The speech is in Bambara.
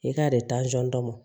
I ka desɔn dɔ mɔ